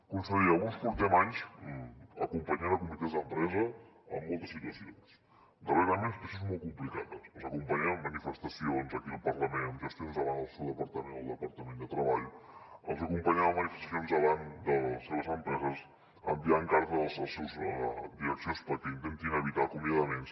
conseller alguns portem anys acompanyant comitès d’empresa en moltes situacions darrerament situacions molt complicades els acompanyem en manifestacions aquí al parlament amb gestions davant el seu departament o el departament de treball els acompanyem a manifestacions davant de les seves empreses enviant cartes a les seves direccions perquè intentin evitar acomiadaments